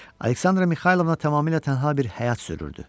Aleksandra Mixaylovna tamamilə tənha bir həyat sürürdü.